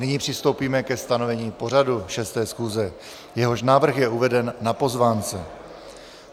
Nyní přistoupíme ke stanovení pořadu 6. schůze, jehož návrh je uveden na pozvánce.